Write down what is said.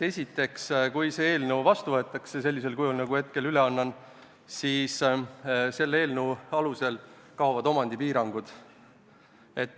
Esiteks, kui see eelnõu võetakse seadusena vastu sellisel kujul, nagu ma hetkel üle annan, siis selle eelnõu alusel kaovad omandipiirangud.